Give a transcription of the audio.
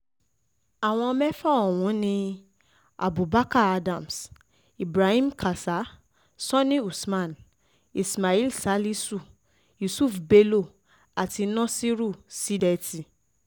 àwọn mẹ́fà ọ̀hún ni abubarkar adams ibrahim kasa sani usman ismail salisu yusuf bello àti nasiru sídétì